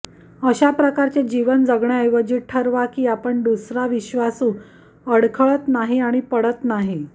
अशा प्रकारचे जीवन जगण्याऐवजी ठरवा की आपण दुसरा विश्वासू अडखळत नाही आणि पडत नाही